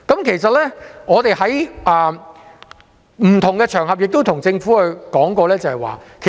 其實，我們在不同場合曾向政府指出這種情況。